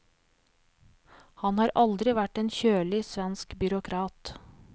Han har aldri vært en kjølig svensk byråkrat.